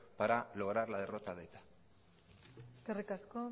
para lograr la derrota de eta eskerrik asko